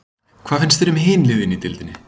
Hvað finnst þér um hin liðin í deildinni?